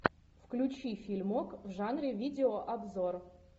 включи фильмок в жанре видеообзор